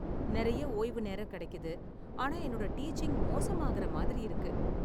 நிறைய ஓய்வு நேரம் கிடைக்குது, ஆனா என்னோட டீச்சிங் மோசமாகற மாதிரி இருக்கு.